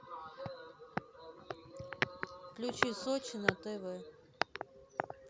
включи сочи на тв